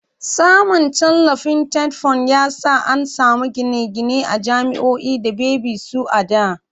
Samun tallafin TETFUND ya sa an samu gine-gine a jami'oi da baby su a da.